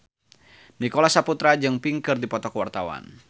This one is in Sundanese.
Nicholas Saputra jeung Pink keur dipoto ku wartawan